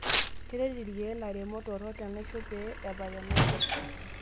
Keret ilkeek lamerak torok lenaisho pee epal enaisho.